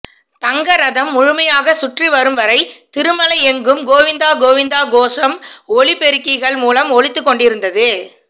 தங்க ரதம் முழுமையாக சுற்றிவரும் வரை திருமலை எங்கும் கோவிந்தா கோவிந்தா கோஷம் ஒலி பெருக்கிகள் மூலம் ஒலித்துக் கொண்டிருந்தது